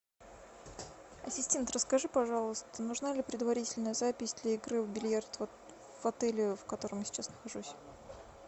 ассистент расскажи пожалуйста нужна ли предварительная запись для игры в бильярд в отеле в котором я сейчас нахожусь